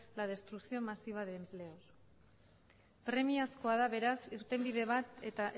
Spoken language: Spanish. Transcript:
la destrucción masiva de empleos premiazkoa da beraz irtenbide bat eta